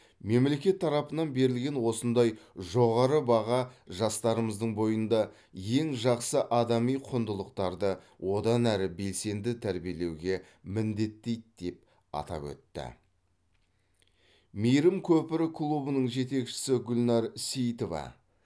мемлекет тарапынан берілген осындай жоғары баға жастарымыздың бойында ең жақсы адами құндылықтарды одан әрі белсенді тәрбиелеуге міндеттейді деп атап өтті мейірім көпірі клубының жетекшісі гүлнар сейітова